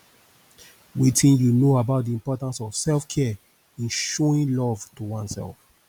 wetin you know about di importance of selfcare in showing love to oneself